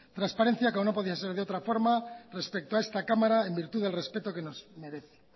transparencia que no podía ser de otra forma respecto a esta cámara en virtud del respeto que nos merece